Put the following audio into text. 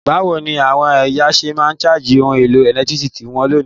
Bàwoni àwon èyàn se ma n charge oun èlò ẹ̀lẹ́ntiriki won lónìí?